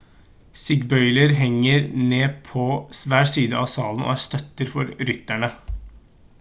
stigbøyler henger ned på hver side av salen og er støtter for rytteren